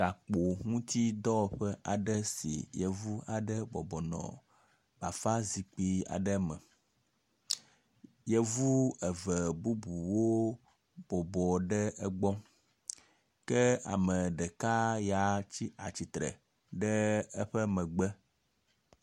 Gakpo ŋuti dɔwɔƒe aɖe si yevu aɖe bɔbɔ nɔ bafa zikpui aɖe me. Yevu eve bubuwo bɔbɔ ɖe egbɔ ke ame ɖeka ya tsi atsitre ɖe eƒe megbe.